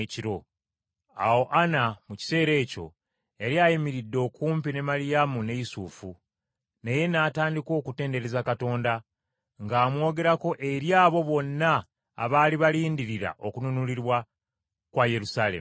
Awo Ana mu kiseera ekyo yali ayimiridde okumpi ne Maliyamu ne Yusufu, naye n’atandika okutendereza Katonda ng’amwogerako eri abo bonna abaali balindirira okununulibwa kwa Yerusaalemi.